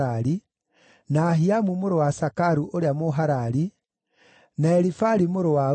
na Ahiamu mũrũ wa Sakaru ũrĩa Mũharari, na Elifali mũrũ wa Uri,